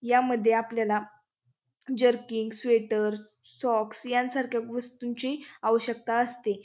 यामध्ये आपल्याला jerkin sweaters socks यांसारख्या वस्तूंची आवश्यकता असते.